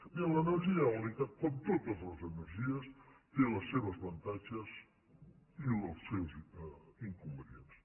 bé l’energia eòlica com totes les energies té els seus avantatges i els seus inconvenients